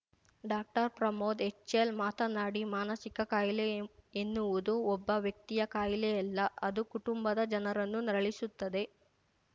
doctor Pramod HL ಮಾತನಾಡಿ ಮಾನಸಿಕ ಕಾಯಿಲೆ ಎನ್ನುವುದು ಒಬ್ಬ ವ್ಯಕ್ತಿಯ ಕಾಯಿಲೆಯಲ್ಲ ಅದು ಕುಟುಂಬದ ಜನರನ್ನು ನರಳಿಸುತ್ತದೆ